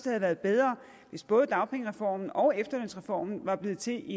havde været bedre hvis både dagpengereformen og efterlønsreformen var blevet til i